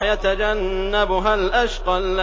وَيَتَجَنَّبُهَا الْأَشْقَى